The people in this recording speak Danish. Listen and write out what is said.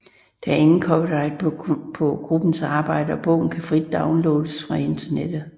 Der er ingen copyright på gruppens arbejde og bogen kan frit downloades fra internettet